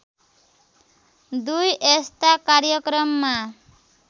२ यस्ता कार्यक्रममा